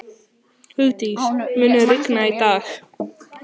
Hugdís, mun rigna í dag?